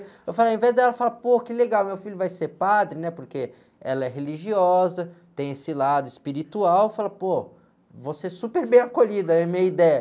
Eu falei, ao invés dela, eu falei, pô, que legal, meu filho vai ser padre, né, porque ela é religiosa, tem esse lado espiritual, eu falei, pô, vou ser super bem acolhido, era a minha ideia.